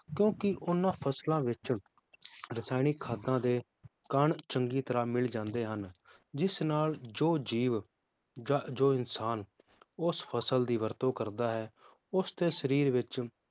ਕਿਉਂਕਿ ਉਹਨਾਂ ਫਸਲਾਂ ਵਿਚ ਰਸਾਇਣਿਕ ਖਾਦਾਂ ਦੇ ਕਣ ਚੰਗੀ ਤਰਾਹ ਮਿਲ ਜਾਂਦੇ ਹਨ, ਜਿਸ ਨਾਲ ਜੋ ਜੀਵ ਜਾਂ ਜੋ ਇਨਸਾਨ ਉਸ ਫਸਲ ਦੀ ਵਰਤੋਂ ਕਰਦਾ ਹੈ ਉਸ ਦੇ ਸ਼ਰੀਰ ਵਿਚ